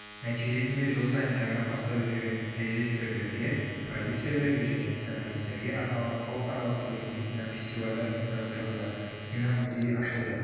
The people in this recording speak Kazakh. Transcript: нәтижесінде жыл сайын жаңа бастап жүрген режиссерлерге продюссерлерге және сценаристерге арналған халықаралық туриндік кинофестивальдар ұйымдастырылды кино музейі ашылды